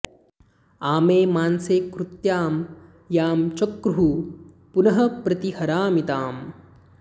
आ॒मे मां॒से कृ॒त्यां यां च॒क्रुः पुनः॒ प्रति॑ हरामि॒ ताम्